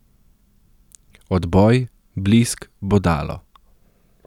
Odboj, blisk, bodalo.